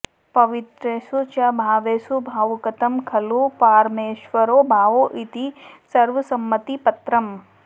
पवित्रेषु च भावेषु भावुकतमः खलु पारमेश्वरो भाव इति सर्वसम्मतिपत्रम्